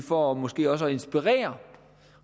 for måske også at inspirere